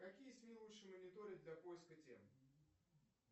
какие сми лучше мониторить для поиска тем